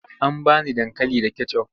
An ba ni dankali da kecof.